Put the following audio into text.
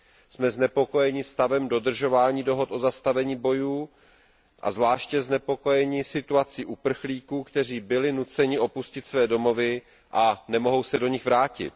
Jsme znepokojeni stavem dodržování dohod o zastavení bojů, a zvláště znepokojeni situací uprchlíků, kteří byli nuceni opustit své domovy a nemohou se do nich vrátit.